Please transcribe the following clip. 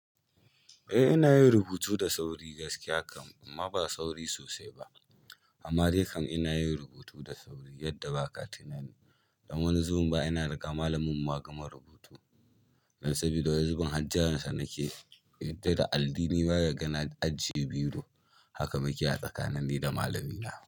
Eh, ina yin rubutu da sauri gaskiya kam, amma ba sauri sosai ba. Amma dai kam ina yin rubutu da sauri yadda baka tunani don wani zubin ma ina riga malaminmu ma gama rubutu. Dan sabida wani zubin har jiransa nake yi, ya yaddar da alli nima yaga na ajiye biro, haka mauke a tsakanin ni da malamina.